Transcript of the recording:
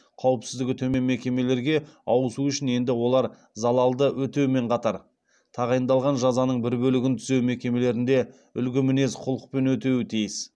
қауіпсіздігі төмен мекемелерге ауысу үшін енді олар залалды өтеумен қатар тағайындалған жазаның бір бөлігін түзеу мекемелерінде үлгі мінез құлықпен өтеуі тиіс